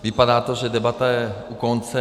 Vypadá to, že debata je u konce.